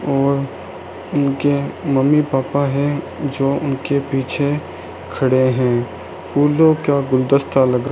और उनके mummy papa है जो उनके पीछे खड़े है फूलों का गुलदस्ता लगा --